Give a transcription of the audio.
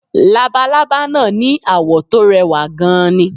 Labalábá náà ni àwọ̀ tó rẹwà gan-an ni